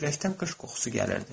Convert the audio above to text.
Küləkdən qış qoxusu gəlirdi.